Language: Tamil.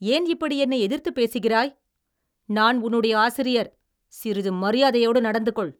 ஏன் இப்படி என்னை எதிர்த்துப் பேசுகிறாய்? நான் உன்னுடைய ஆசிரியர், சிறிது மரியாதையோடு நடந்துகொள்!